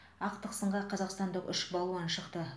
ақтық сынға қазақстандық үш балуан шықты